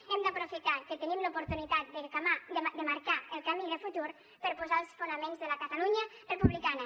hem d’aprofitar que tenim l’oportunitat de marcar el camí de futur per posar els fonaments de la catalunya republicana